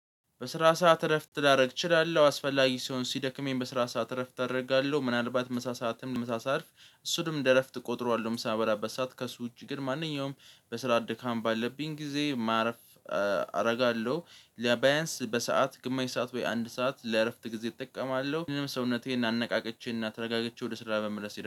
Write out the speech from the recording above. በስራ ሰዓት እረፍት ላደርግ እችላለሁ አስፈላጊ ሲሆን ሲደክመኝ በስራ ሰዓት እረፍት አደርጋለሁ ምናልባት ምሳ ሰዓትም ምሳ ሰዓት እሱንም እንደ እረፍት እቆጥረዋለሁ ምሳ ምበላበት ሰዓት ከእሱ ውጪ ግን ማንኛውም በስራ ድካም ባለብኝ ጊዜ ማረፍ አደርጋለሁ። ለባያንስ በሰአት ግማሽ ሰዓት ወይ አንድ ሰዓት ለእረፍት ጊዜ እጠቀማለሁ ምንም ሰውነቴን አነቃቅቼ እናተረጋግቼ ወደ ስራ በመመለስ